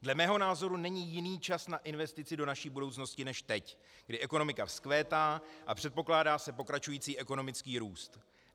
Dle mého názoru není jiný čas na investici do naší budoucnosti než teď, kdy ekonomika vzkvétá a předpokládá se pokračující ekonomický růst.